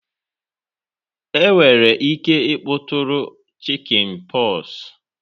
enwere ike ịkpọtụrụ chickenpox.